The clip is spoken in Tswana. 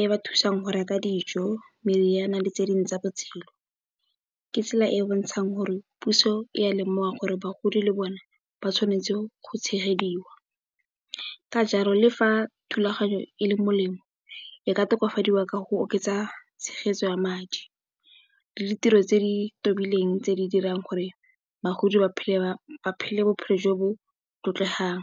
e ba thusang go reka dijo, meriana le tse dingwe tsa botshelo ke tsela e e bontshang gore puso e ya lemoga gore bagodi le bone ba tshwanetse go tshegediwa. Ka jalo le fa thulaganyo e le molemo e ka tokafadiwa ka go oketsa tshegetso ya madi le ditiro tse di tobileng tse di dirang gore bagodi ba phele bophele jo bo tlotlegang.